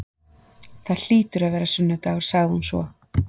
Það hlýtur að vera sunnudagur, sagði hún svo.